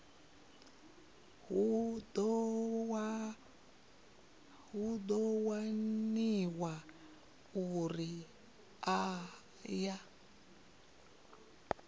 hu ḓo waniwa uri aya